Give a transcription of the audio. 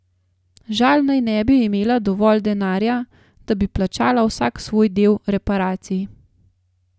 Žal naj ne bi imela dovolj denarja, da bi plačala vsak svoj del reparacij.